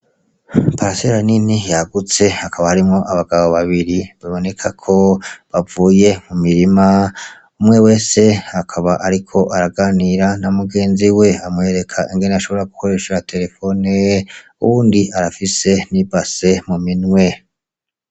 Itongo rinini ryagutse hakaba harimwo abagabo babiri bibonekako bavuye mu mirima bibonekako umwe wese ariko araganira namugenziwe, amwerek'ingene ashobore gukoresha iterefoni uwundi arafise n'ibase mu minwe.